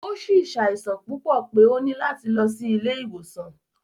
O si ṣaisan pupọ pe o ni lati lọ si ile-iwosan.